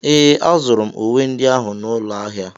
Ee, azụrụ m uwe ndị ahụ n'ụlọ ahịa.